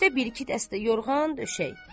Üstdə bir-iki dəstə yorğan döşək.